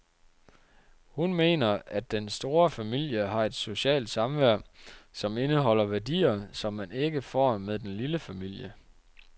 Hun mener, at den store familie har et socialt samvær, som indeholder værdier, som man ikke får med den lille familie.